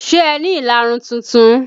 Ṣé ẹ ni ìlarun tuntun?